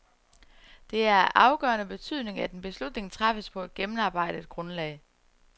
Det er af afgørende betydning, at en beslutning træffes på et gennemarbejdet grundlag.